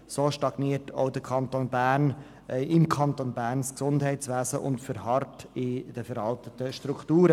So stagniert auch im Kanton Bern das Gesundheitswesen und verharrt in veralteten Strukturen.